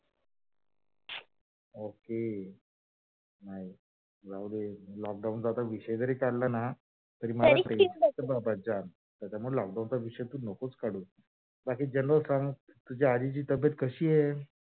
ok नाही जाऊ दे, lock down चा आता विषय जरी काढला ना तरी मला pressure येते बाबा त्याच्यामुळ lock down चा विषय तू नकोच काढू बाकी genera l संग तुझ्या आजीची तब्बेत कशी आहे?